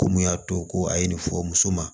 Ko mun y'a to ko a ye nin fɔ muso ma